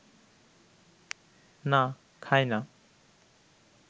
না, খাই না